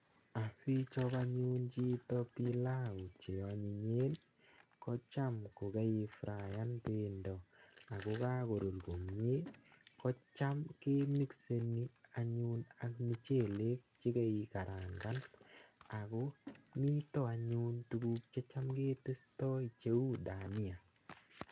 Asichop anyun chito pilau che onyinyen kocham kokeifrayan pendo akokakorur komie ko cham ke micani anyun ak mchelek chekeikarangan ako mito anyun tukuk che cham ketestoi cheu dania.